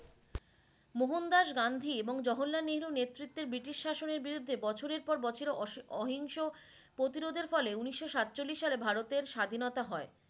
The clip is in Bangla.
মোহন দাস গান্ধী এবং জহরলাল নিরু নেতৃতে ব্রিটিশ শাসনের বিরুদ্ধে বছরের পর বছর অস অহিংস প্রতিরোধের ফলে উন্নিশ সাতচল্লিশ সালে ভারতের স্বাধীনতা হয়